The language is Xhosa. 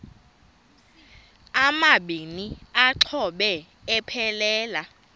amabini exhobe aphelela